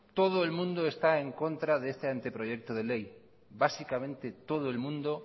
todo el mundo está en contra de este anteproyecto de ley básicamente todo el mundo